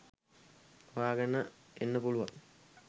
හොයාගෙන එන්න පුළුවන්.